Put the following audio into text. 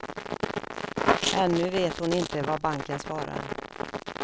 Ännu vet hon inte vad banken svarar.